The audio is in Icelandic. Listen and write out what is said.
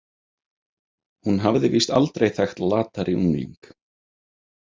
Hún hafði víst aldrei þekkt latari ungling.